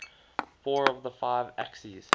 four of the five axis